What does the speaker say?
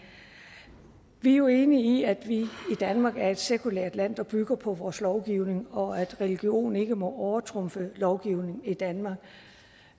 vi er jo enige i at vi i danmark er et sekulært land der bygger på vores lovgivning og at religion ikke må overtrumfe lovgivning i danmark